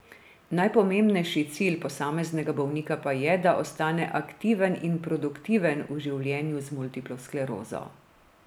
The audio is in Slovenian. Najpomembnejši cilj posameznega bolnika pa je, da ostane aktiven in produktiven v življenju z multiplo sklerozo.